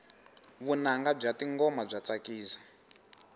vunanga bya tingoma bya tsakisa